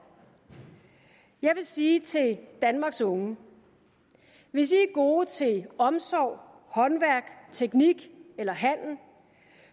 jeg vil sige til danmarks unge hvis i er gode til omsorg håndværk teknik eller handel